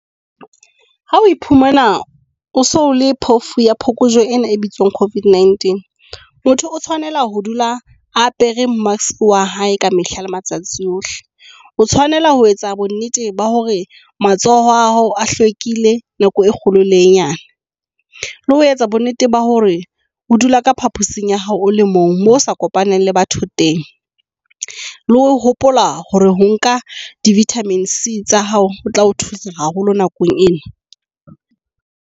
Ha o iphumana o so le phofu ya phokojwe ena e bitswang COVID-19 motho o tshwanela ho dula apere mask wa hae ka mehla le matsatsi ohle. O tshwanela ho etsa bonnete ba hore matsoho a hao a hlwekile nako e kgolo le e nyane. Le ho etsa bo nnete ba hore o dula ka phaposing ya hao, o le mong moo o sa kopaneng le batho teng. Le ho hopola hore ho nka di-vitamin C tsa hao ho tla ho thusa haholo nakong ena.